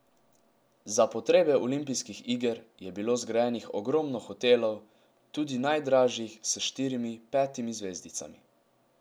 Za potrebe olimpijskih iger je bilo zgrajenih ogromno hotelov, tudi najdražjih s štirimi, petimi zvezdicami.